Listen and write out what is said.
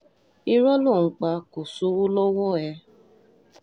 irọ́ ló ń pa kò sówó lọ́wọ́ ẹ̀